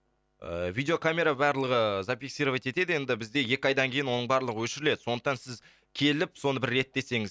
ыыы видеокамера барлығы зафиксировать етеді енді бізде екі айдан кейін оның барлығы өшіріледі сондықтан сіз келіп соны бір реттесеңіз